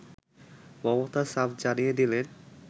মমতা সাফ জানিয়ে দিলেন